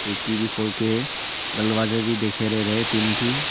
खिड़की भी खोल के दलवाजा भी दिखाई दे रहा है तीन ठो।